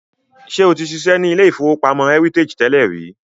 Ṣé o ti ṣiṣẹ́ ní ilé-ìfowópamọ́ Heritage tẹ́lẹ̀ rí?